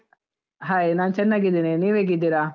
Hai , ನಾನ್ ಚನ್ನಾಗಿದ್ದೇನೆ, ನೀವು ಹೇಗಿದ್ದೀರಾ?